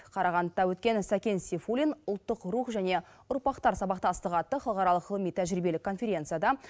қарағандыда өткен сәкен сейфуллин ұлттық рух және ұрпақтар сабақтастығы атты халықаралық ғылыми тәжірибелік конференцияда